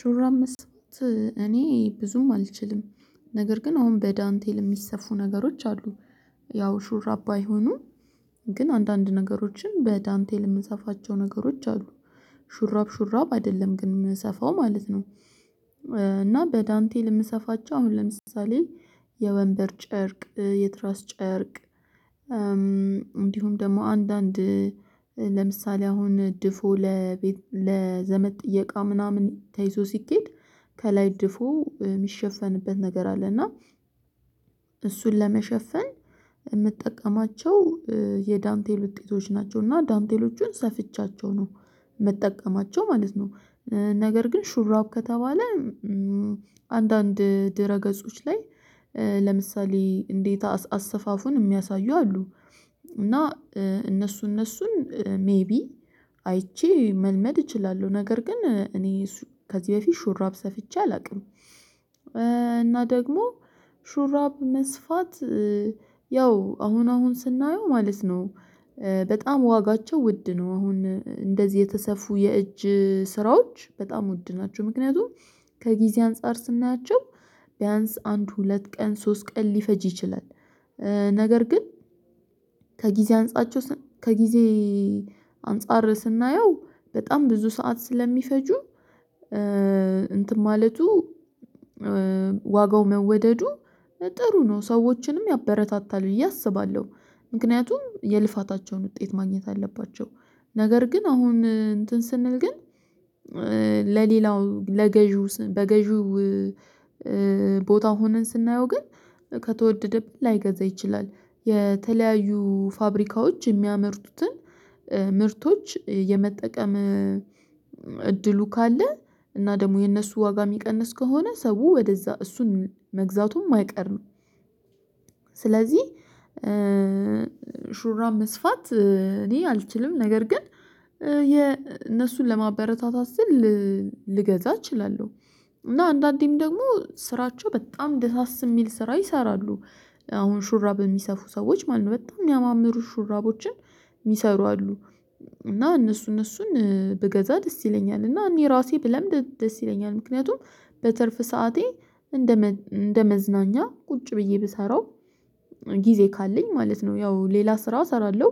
ሹራም መስራት እኔ ብዙም አልችልም። ነገር ግን አሁን በዳንቴል ለሚሰፉ ነገሮች አሉ። ያው ሹራብ ባይሆኑ ግን አንዳንድ ነገሮችን በዳንቴ ለምንሰፋቸው ነገሮች አሉ። ሹራብ ሹራብ አይደለም ግን የምንሰፋው ማለት ነው። እና በዳንቴ ለምንሰፋቸው አሁን ለምሳሌ የወንበር ጨርቅ የትራስ ጨርቅ እንዲሁም ደግሞ አንዳንድ ለምሳሌ አሁን ድፎ ለዘመድ ጥየቃ ምናምን ተይዞ ሲኬድ ከላይ ድፎ የሚሸፈንበት ነገር አለ እና እሱን ለመሸፈን የምጠቀማቸው የዳንቴል ውጤቶች ናቸው። እና ዳንቴሎቹን ሰፍቻቸው ነው መጠቀማቸው ማለት ነው። ነገር ግን ሹራብ ከተባለ አንዳንድ ድረ ገጾች ላይ ለምሳሌ እንዴት አሰፋፉን የሚያሳዩ አሉ እና እነሱ እነሱን ሜይቢ አይቼ መልመድ እችላለሁ ነገር ግን እኔ ከዚህ በፊት ሹራብ ሰፍቼ አላውቅም። እና ደግሞ ሹራብ መስፋት ያው አሁን አሁን ስናየው ማለት ነው በጣም ዋጋቸው ውድ ነው አሁን እንደዚህ የተሰፉ የእጅ ስራዎች በጣም ወድናቸው ምክንያቱም ከጊዜ አንፃር ስናያቸው ቢያንስ አንድ ሁለት ቀን ሶስት ቀን ሊፈጅ ይችላል። ነገር ግን ከጊዜ አንጻቸው ከጊዜ አንፃር ስናየው በጣም ብዙ ሰዓት ስለሚፈጁ እንትን ማለቱ ዋጋው መወደዱ ጥሩ ነው ሰዎችንም ያበረታታል ብዬ አስባለሁ። ምክንያቱም የልፋታቸውን ውጤት ማግኘት አለባቸው። ነገር ግን አሁን እንትን ስንል ግን ለሌላው ለገዢው በገዢው ቦታ ሆነን ስናየው ግን ከተወደደብን ላይገዛ ይችላል። የተለያዩ ፋብሪካዎች የሚያመርቱትን ምርቶች የመጠቀም እድሉ ካለ እና ደግሞ የእነሱ ዋጋ የሚቀንስ ከሆነ ሰው ወደዛ እሱን መግዛቱም አይቀርም። ስለዚህ ሹራም መስፋት እኔ አልችልም ነገር ግን እነሱን ለማበረታታት ስል ልገዛ እችላለሁ። እና አንዳንዴም ደግሞ ስራቸው በጣም ደሳስ የሚል ስራ ይሰራሉ አሁን ሹራብ የሚሰፉ ሰዎች ማለት ነው በጣም የሚያማምሩ ሹራቦችን የሚሰሩ አሉ። እና እነሱ እነሱን ብገዛ ደስ ይለኛል እና እኔ ራሴ ብለምድ ደስ ይለኛል ምክንያቱም በትርፍ ሰዓቴ እንደ እንደ መዝናኛ ቁጭ ብዬ ብሰራው ጊዜ ካለኝ ማለት ነው ያው ሌላ ስራ እሰራለሁ።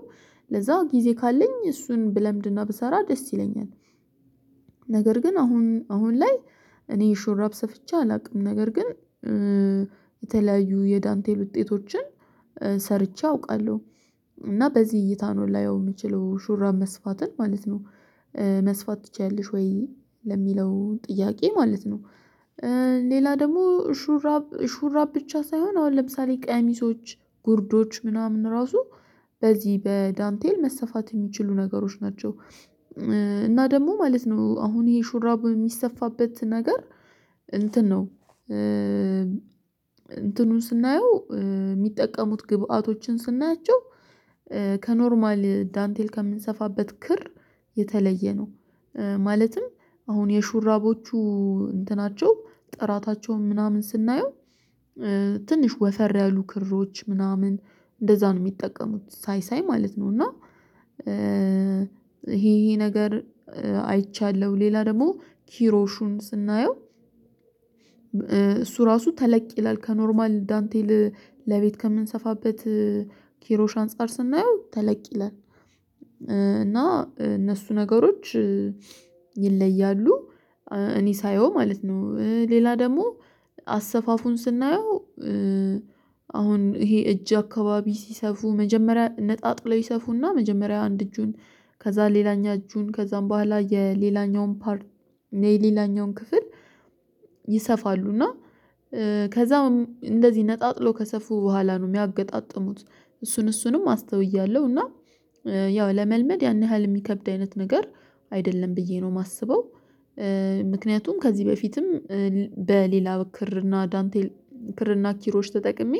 ለዛ ጊዜ ካለኝ እሱን ብለምድና ብሰራ ደስ ይለኛል። ነገር ግን አሁን አሁን ላይ እኔ ሹራብ ሰፍቼ አላውቅም። ነገር ግን የተለያዩ የዳንቴል ውጤቶችን ሰርቼ አውቃለሁ እና በዚህ እይታ ነው ላየው የምችለው ሹራብ መስፋትን ማለት ነው። መስፋት ትችያለሽ ወይ? ለሚለው ጥያቄ ማለት ነው፤ ሌላ ደግሞ ሹራብ ሹራብ ብቻ ሳይሆን አሁን ለምሳሌ ቀሚሶች ጉርዶች ምናምን ራሱ በዚህ በዳንቴል መሰፋት የሚችሉ ነገሮች ናቸው። እና ደግሞ ማለት ነው አሁን ይሄ ሹራብ የሚሰፋበት ነገር እንትን ነው። እንትኑን ስናየው የሚጠቀሙት ግብአቶችን ስናያቸው ከኖርማል ዳንቴል ከምንሰፋበት ክር የተለየ ነው፤። ማለትም አሁን የሹራቦቹ እንትናቸው ጥራታቸውን ምናምን ስናየው ትንሽ ወፈር ያሉ ክሮች ምናምን እንደዛ ነው የሚጠቀሙት ሳይሳይ ማለት ነው። እና ይሄ ይሄ ነገር አይቻለሁ ሌላ ደግሞ ኪሮሹን ስናየው እሱ ራሱ ተለቅ ይላል ከኖርማል ዳንቴል ለቤት ከምንሰፋበት ኪሮሽ አንፃር ስናየው ተለቅ ይላል። እና እነሱ ነገሮች ይለያሉ፤። እኔ ሳየው ማለት ነው ሌላ ደግሞ አሰፋፉን ስናየው አሁን ይሄ እጅ አካባቢ ሲሰፉ መጀመሪያ ነጣጥለው ይሰፉና መጀመሪያ አንድ እጁን ከዛ ሌላኛ እጁን ከዛም በኋላ የሌላኛውን ፓርት የሌላኛውን ክፍል ይሰፋሉ እና ከዛም እንደዚህ ነጣጥሎ ከሰፉ በኋላ ነው የሚያገጣጥሙት እሱን እሱንም አስተውያለሁ እና ያው ለመልመድ ያን ያህል የሚከብድ አይነት ነገር አይደለም ብዬ ነው የማስበው። ምክንያቱም ከዚህ በፊትም በሌላ ክር እና ዳንቴል ክር እና ኪሮዎች ተጠቅሜ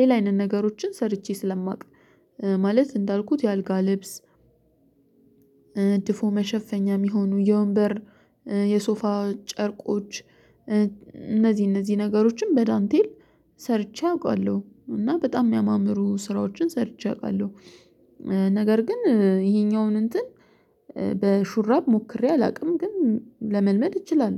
ሌላ አይነት ነገሮችን ሰርቼ ስለማውቅ ማለት እንዳልኩት የአልጋ ልብስ እድፎ መሸፈኛ የሚሆኑ የወንበር የሶፋ ጨርቆች እነዚህ እነዚህ ነገሮችን በዳንቴል ሰርቼ አውቃለሁ እና በጣም የሚያማምሩ ስራዎችን ሰርቼ አውቃለሁ። ነገር ግን ይሄኛውን እንትን በሹራብ ሞክሬ አላውቅም ግን ለመልመድ እችላለሁ